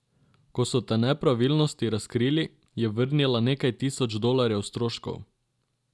Ko so te nepravilnosti razkrili, je vrnila nekaj tisoč dolarjev stroškov.